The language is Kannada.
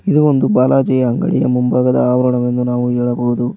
ಇದು ಒಂದು ಬಾಲಾಜಿಯ ಅಂಗಡಿಯ ಮುಂಭಾಗದ ಆವರಣವನ್ನು ನಾವು ಹೇಳಬಹುದು.